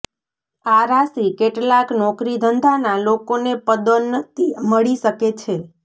આ રાશિ કેટલાક નોકરીધંધાના લોકોને પદોન્નતિ મળી શકે છે